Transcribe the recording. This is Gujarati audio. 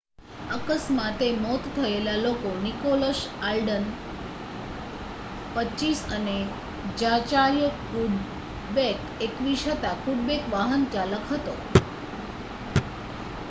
અકસ્માતે મોત થયેલા લોકો નિકોલસ આલ્ડન 25 અને ઝાચાર્ય કુડબેક 21 હતા કુડબેક વાહનચાલક હતો